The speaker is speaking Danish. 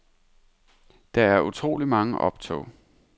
Der er utrolig mange optog.